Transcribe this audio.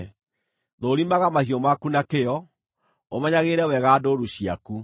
Thũũrimaga mahiũ maku na kĩyo, ũmenyagĩrĩre wega ndũũru ciaku;